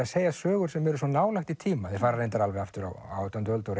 að segja sögur sem eru svo nálægt í tíma þeir fara reyndar alveg aftur á átjándu öld og